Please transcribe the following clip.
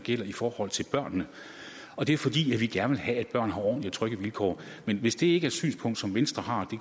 gælder i forhold til børnene og det er fordi vi gerne vil have at børn har ordentlige og trygge vilkår men hvis det ikke er et synspunkt som venstre har